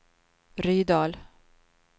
Rydal